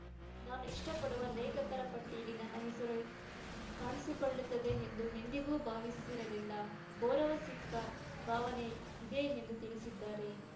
ನಾನು ಇಷ್ಟಪಡುವ ಲೇಖಕರ ಪಟ್ಟಿಯಲ್ಲಿ ನನ್ನ ಹೆಸರೂ ಕಾಣಿಸಿಕೊಳ್ಳುತ್ತದೆ ಎಂದು ಎಂದಿಗೂ ಭಾವಿಸಿರಲಿಲ್ಲ ಗೌರವ ಸಿಕ್ಕ ಭಾವನೆ ಇದೆ ಎಂದು ತಿಳಿಸಿದ್ದಾರೆ